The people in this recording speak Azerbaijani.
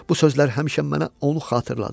Bu sözler həmişə mənə onu xatırladır.